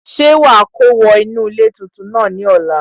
Ṣé wà á kó wọ inú ilé tuntun náà ní ọ̀la?